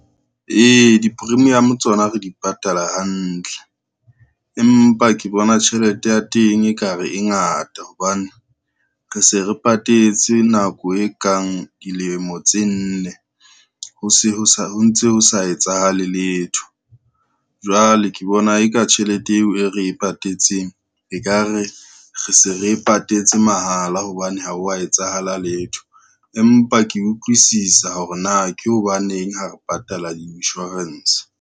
Ee, di-premium tsona re di patala hantle, empa ke bona tjhelete ya teng e ka re e ngata hobane re se re patetse nako e kang dilemo tse nne, ho ntse ho sa etsahale letho. Jwale ke bona eka tjhelete eo e re e patetseng, e ka re re se re patetse mahala hobane ha wa etsahala letho, empa ke utlwisisa hore na ke hobaneng ha re patala insurance.